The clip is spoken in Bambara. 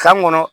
Kan kɔnɔ